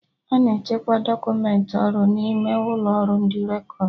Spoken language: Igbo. Ana echekwa dọkumentị ọrụ n'ime ụlọ ọrụ ndị rekọd